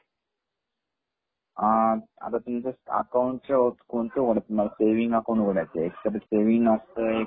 आ आता तुमच अकाऊंटच्या वरच आहे ते कोणत उघडायचं